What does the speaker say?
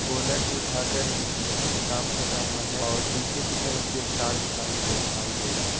Bonnet भी उठा कर इसमे कुछ काम कर रहा है और पीछे के तरफ भी एक कार खड़ा दिखाई दे रहा।